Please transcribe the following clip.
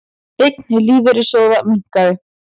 Eign lífeyrissjóða minnkaði